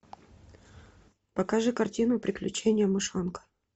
покажи картину приключения мышонка